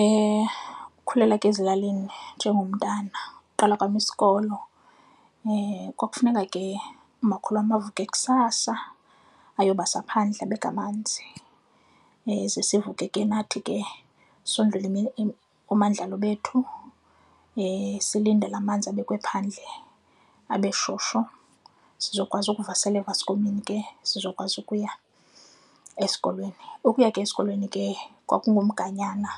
Ukukhulela ke ezilalini njengomntana uqala kwam isikolo kwakufuneka ke umakhulu avuke kusasa ayobasa phandle, abeke amanzi ze sivuke ke nathi ke sondlule oomandlalo bethu silindele amanzi abekwe phandle abe shushu sizokwazi ukuvasela evaskomini ke sizokwazi ukuya esikolweni. Ukuya ke esikolweni ke kwakunguganyana